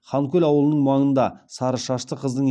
ханкөл ауылының маңында сары шашты қыздың